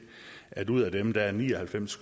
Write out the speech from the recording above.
at ud af dem er ni og halvfems